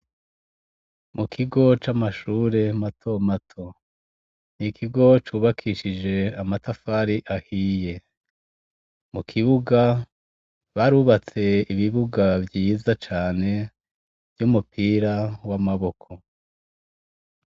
Mu kigo camashure matomato nikigo cubakishije amatafari ahiye. Mukibuga barubatse ibibuga vyiza cane vy'umupira wamaboko.